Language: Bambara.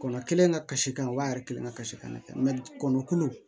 Kɔnɔ kelen ka kasi kan u b'a yɛrɛ kelen kasi kan na kɛ kɔngɔ kulu